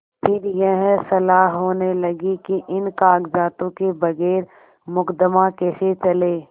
फिर यह सलाह होने लगी कि इन कागजातों के बगैर मुकदमा कैसे चले